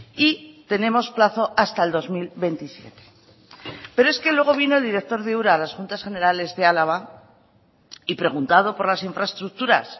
y tenemos plazo hasta el dos mil veintisiete pero es que luego vino el director de ura a las juntas generales de álava y preguntado por las infraestructuras